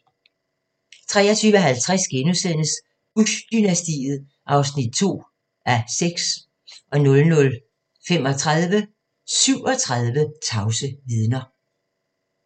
23:50: Bush-dynastiet (2:6)* 00:35: 37 tavse vidner